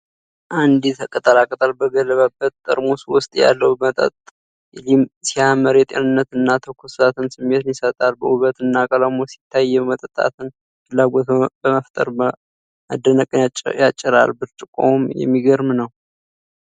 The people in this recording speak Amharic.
አረንጓዴ ቅጠላቅጠል በገባበት ጠርሙስ ውስጥ ያለው መጠጥ ሲያምር፣ የጤንነት እና ትኩስነት ስሜትን ይሰጣል። ውበቱና ቀለሙ ሲታይ፣ የመጠጣት ፍላጎትን በመፍጠር መደነቅን ያጭራል። ብርጭቆውም የሚገርም ነው።